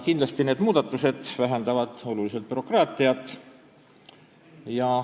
Kindlasti vähendavad need muudatused oluliselt bürokraatiat.